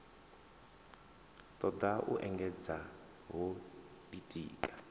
toda u engedzedza ho ditika